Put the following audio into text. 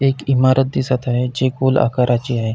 एक इमारत दिसत आहे जी गोल आकाराची आहे.